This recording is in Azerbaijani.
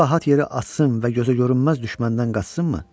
Bu rahat yeri atsın və gözə görünməz düşməndən qaçsınmı?